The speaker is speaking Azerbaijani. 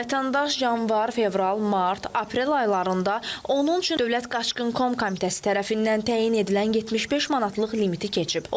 Vətəndaş yanvar, fevral, mart, aprel aylarında onun üçün Dövlət Qaçqın Komitəsi tərəfindən təyin edilən 75 manatlıq limiti keçib.